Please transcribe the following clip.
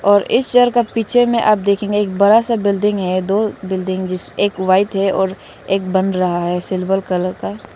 और इस शहर का पीछे में आप देखेंगे एक बड़ा सा बिल्डिंग है दो बिल्डिंग जिस एक वाइट है और एक बन रहा है सिल्वर कलर का --